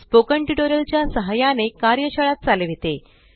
spoken tutorial च्या सहाय्याने कार्यशाळा चालविते